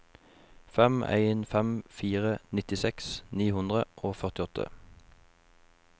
fem en fem fire nittiseks ni hundre og førtiåtte